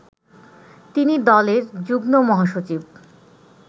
তিনি দলের যুগ্মমহাসচিব